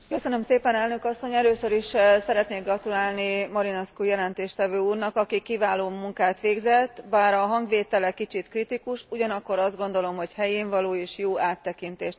Először is szeretnék gratulálni Marinescu jelentéstevő úrnak, aki kiváló munkát végzett, bár a hangvétele kicsit kritikus, ugyanakkor azt gondolom, hogy helyénvaló, és jó áttekintést ad a riport.